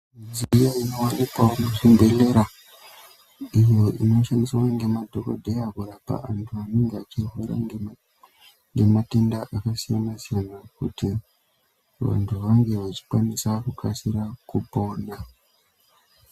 Midziyo inowanikwa muzvibhedhlera iyo inoshandiswe nemadhokotera kurapa vandu anenge achirwara nematenda asine mazino kuti vandu vange vachikwanisa kusasira kupona .